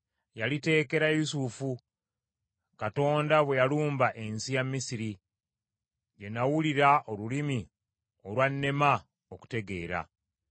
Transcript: Yaliteekera Yusufu, Katonda bwe yalumba ensi ya Misiri; gye nawulirira olulimi olwannema okutegeera.